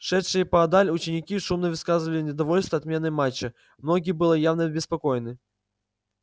шедшие поодаль ученики шумно высказывали недовольство отменой матча многие были явно обеспокоены